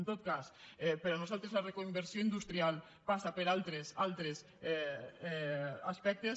en tot cas per a nosaltres la reconversió industrial passa per altres aspectes